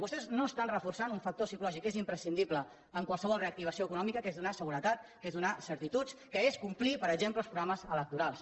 vostès no estan reforçant un factor psicològic és imprescindible en qualsevol reactivació econòmica que és donar seguretat és donar certituds que és complir per exemple els programes electorals